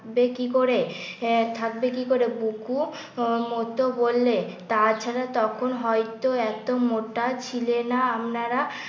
বে কি করে আহ থাকবে কি করে। বুকু মতো বললে তাছাড়া তখন হয়তো এত মোটা ছিলে না আপনারা